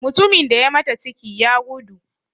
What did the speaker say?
Mutumin da ya mata ciki, ya gudu.